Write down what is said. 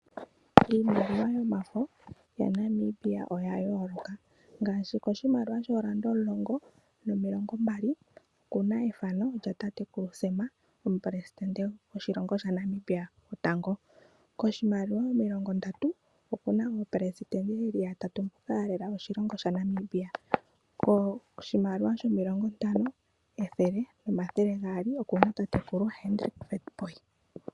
Iimaliwa yomafo yaNamibia oya yooloka. Ngaashi koshimaliwa shoodola omulongo, nomilongombali oku na ethano lyatatekulu Sam, omuperesidente gwoshilongo shaNamibia gwotango. Koshimaliwa omilongondatu oku na aaperesidente ye li yatatu mboka ya lela oshilongo shaNamibia. Koshimaliwa shomilongontano, ethele nomathele gaali oku na tatekulu Hendrik Witbooi.